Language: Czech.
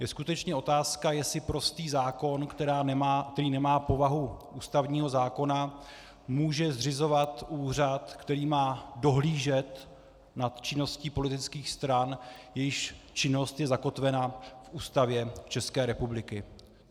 Je skutečně otázka, jestli prostý zákon, který nemá povahu ústavního zákona, může zřizovat úřad, který má dohlížet nad činností politických stran, jejichž činnost je zakotvena v Ústavě České republiky.